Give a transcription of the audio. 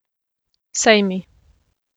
Sejmi.